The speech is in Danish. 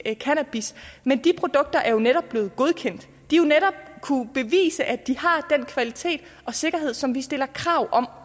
cannabis men de produkter er jo netop blevet godkendt man jo netop kunnet bevise at de har den kvalitet og sikkerhed som vi stiller krav om